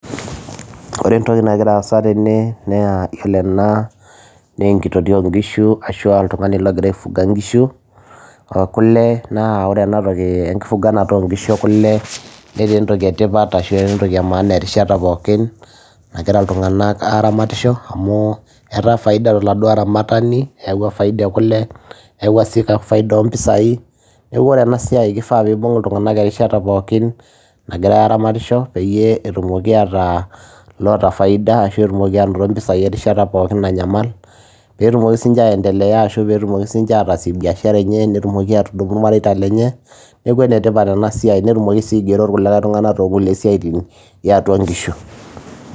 Wore entoki nagira aasa tene naa iyiolo ena naa enkitotio oo inkishu ashua oltungani loogira ai fuga inkishu , ekule naa wore enatoki enkifuganata oo inkishu ekule netaa entoki etipat ashu etaa entoki emaana erishata pookin nagira iltunganak aramatisho , amu etaa faida toladuo aramatani eewua faida ekule , eyawua sii faida oompisai. Niaku wore enasiai kifaa piibung iltunganak erishata pookin nagira aramatisho peyie etumoko ataa loota faida arashu etumoki anoto impisai erishata pookin nanyamal peetumoki sininje aendelea ashu peetumoki sininje atasie biashara enye nitumoki atudumu irmareita lenye. Niaku enetipat enasiai, netumoki sii aingero iltunganak tookulie siaiti o inkishu.